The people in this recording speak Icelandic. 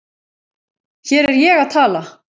Hér er ég að tala